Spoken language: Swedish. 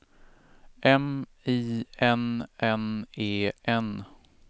M I N N E N